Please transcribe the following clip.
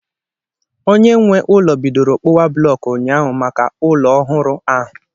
Onye nwe ụlọ bidoro kpụwa blọku ụnyaahụ maka ụlọ ọhụrụ ahụ.